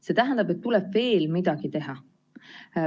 See tähendab, et tuleb veel midagi teha.